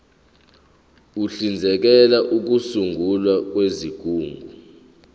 uhlinzekela ukusungulwa kwezigungu